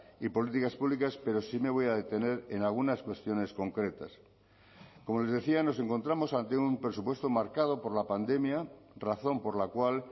y políticas públicas pero sí me voy a detener en algunas cuestiones concretas como les decía nos encontramos ante un presupuesto marcado por la pandemia razón por la cual